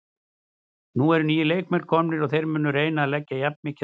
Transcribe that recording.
Nú eru nýir leikmenn komnir og þeir munu reyna að leggja jafn mikið af mörkum.